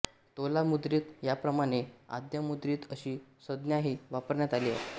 दोलामुद्रित ह्याप्रमाणे आद्यमुद्रित अशी संज्ञाही वापरण्यात आली आहे